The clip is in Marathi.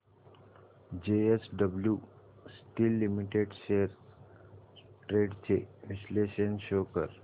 JSW steel limited shares trends चे विश्लेषण शो कर